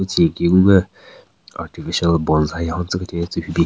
Tsü nyeki gungü artificial bonsai hon tsükethyu tsü hyu bin.